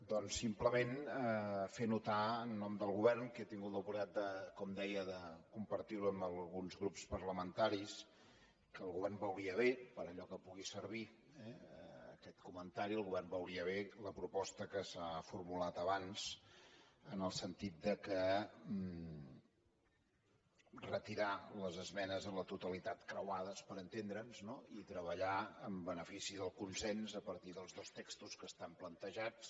doncs simplement fer notar en nom del govern que he tingut l’oportunitat com deia de compartir ho amb alguns grups parlamentaris que el govern veuria bé per allò que pugui servir aquest comentari la proposta que s’ha formulat abans en el sentit de retirar les esmenes a la totalitat creuades per entendre’ns i treballar en benefici del consens a partir dels dos textos que estan plantejats